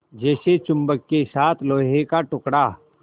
जैसे चुम्बक के साथ लोहे का टुकड़ा